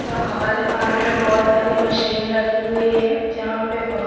सा हाल हाल में बहुत सारी मशीन रखी हुई है। जहाँ पे बहुत--